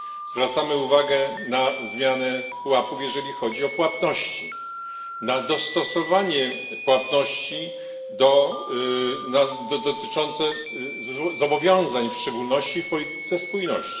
Zwracamy uwagę na zmianę pułapów, jeżeli chodzi o płatności, na dostosowanie płatności dotyczące zobowiązań w szczególności w polityce spójności.